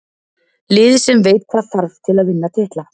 Lið sem veit hvað þarf til að vinna titla.